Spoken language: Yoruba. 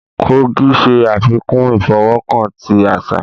Kogò ṣe afikun ifọwọkan ti aṣa.